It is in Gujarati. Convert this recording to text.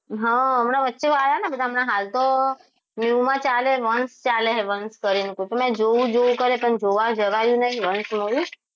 હા હમણાં વચ્ચે આયા ને હમણાં હાલ તો new માં ચાલે વંશ ચાલે વંશ કરીને મેં જોવું જોવું કરીને પણ જોવા જવાયું નહીં અંશ જોયું